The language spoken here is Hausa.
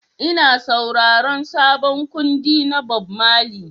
Ina sauraron sabon kundi na Bob Marley